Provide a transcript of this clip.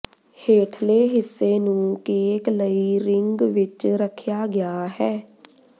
ਹੇਠਲੇ ਹਿੱਸੇ ਨੂੰ ਕੇਕ ਲਈ ਰਿੰਗ ਵਿੱਚ ਰੱਖਿਆ ਗਿਆ ਹੈ